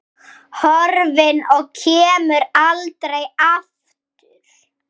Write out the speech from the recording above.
Horfin og kemur aldrei aftur.